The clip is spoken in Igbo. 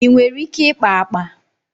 Ị nwere ike ikpa akpa?